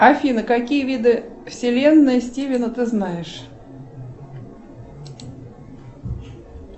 афина какие виды вселенной стивена ты знаешь